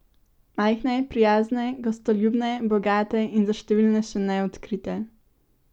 Majhne, prijazne, gostoljubne, bogate in za številne še neodkrite?